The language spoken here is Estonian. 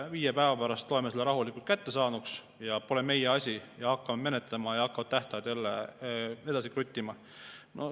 Viie päeva pärast loeme selle rahulikult kättesaaduks ja pole meie asi, hakkame menetlema ja hakkavad tähtajad jälle edasi kruttima.